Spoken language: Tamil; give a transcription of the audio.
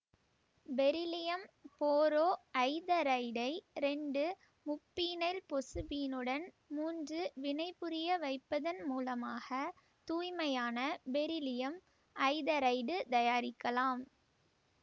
பெரிலியம் போரோஐதரைடை இரண்டு முப்பீனைல் பொசுபீனுடன் மூன்று வினைபுரிய வைப்பததன் மூலமாக தூய்மையான பெரிலியம் ஐதரைடு தயாரிக்கலாம்